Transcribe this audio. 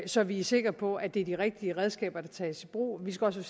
så vi er sikre på at det er de rigtige redskaber der tages i brug vi skal også